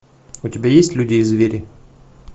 у тебя есть люди и звери